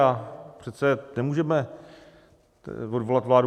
A přece nemůžeme odvolat vládu.